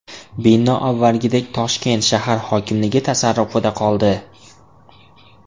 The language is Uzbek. Bino avvalgidek Toshkent shahar hokimligi tasarrufida qoldi.